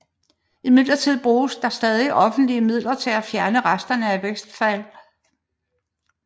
Imidlertid bruges der stadig offentlige midler til at fjerne resterne af Westwall